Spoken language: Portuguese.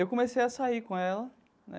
Eu comecei a sair com ela né.